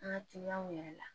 An ka kiliyanw yɛrɛ la